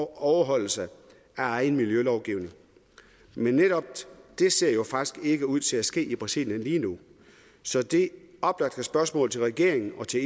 overholdelse af egen miljølovgivning men netop det ser jo faktisk ikke ud til at ske i brasilien lige nu så det oplagte spørgsmål til regeringen og til